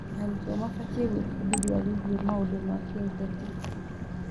Arutwo mabatiĩ gwĩbundithia wĩgiĩ maũndũ ma kĩũteti.